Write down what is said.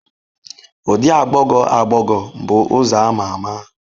Ụdị agbagọ agbagọ bụ ụzọ a ma ama.